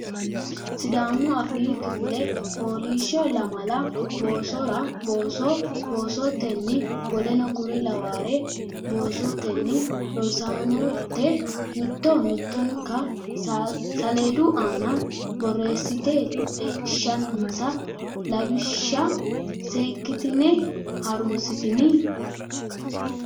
Sidaamu Afoo Kifile Fooliishsho Lamala boosora booso boosote tenni w k l boosotenni Rosaanote mitto mittonka saleedu aana borreessite leellishinsa lawishsha seekkitine ha runsitini.